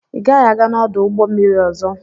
Ị gaghị aga n'ọdụ ụgbọ mmiri ọzọ!